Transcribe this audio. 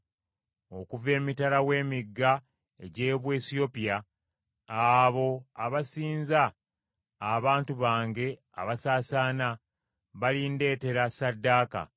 Okuva emitala w’emigga egy’Obuwesiyopya, abo abansinza, abantu bange abasaasaana, balindeetera ssaddaaka.